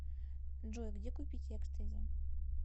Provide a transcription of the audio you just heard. джой где купить экстази